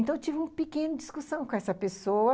Então, eu tive uma pequena discussão com essa pessoa.